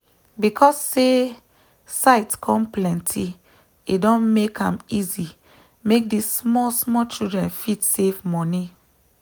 because say site come plenty e don make am easy make this small small childen fit save moni